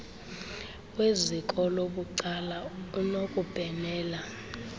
weziko labucala unokubhenela